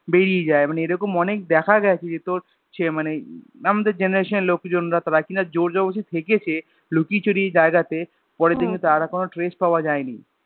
বেড়িয়ে যায় মানে এরকম অনেক দেখা যায় যে তোর সে মানে আমদের Generation এর লোকজনরা তারা কিনা জোর ज़बरदस्ती থেকেছে লুকিয়ে চুরিয়ে এই জায়গা তে পরের দিন হম তাদের আর কোনো trace পাওয়া যায়নি